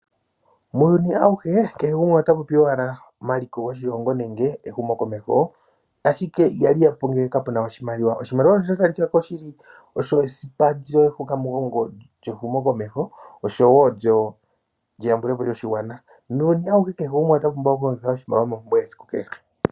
Muuyuni awuhe kehe gumwe ota popi owala omaliko goshilongo nenge ehumokomeho ashike ihali yapo ngele kapena oshimaliwa. Oshimaliwa osha talikako shili osho esipa lyehukamugongo lyehumokomeho osho wo lyeyambulepo lyoshigwana, muuyuni awuhe kehe gumwe ota pumbwa okulongitha oshimaliwa mompumbwe yesiku kehe.